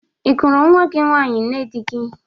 Ị gụrụ nwa gị nwaanyị nne dị gị?